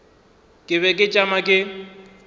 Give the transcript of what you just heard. ke be ke tšama ke